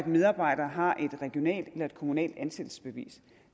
medarbejdere har et regionalt eller et kommunalt ansættelsesbevis